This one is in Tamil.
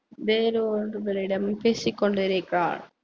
வேறு ஒருவரிடம் பேசிக்கொண்டிருக்கிறார்